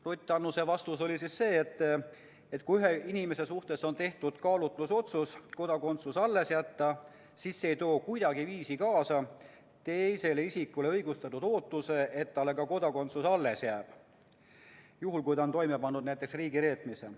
Ruth Annuse vastus oli, et kui ühe inimese suhtes on tehtud kaalutlusotsus kodakondsus alles jätta, siis see ei too kuidagiviisi kaasa teisele isikule õigustatud ootust, et talle ka kodakondsus alles jääb, juhul kui ta on toime pannud näiteks riigireetmise.